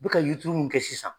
Be ka yirituru min kɛ sisan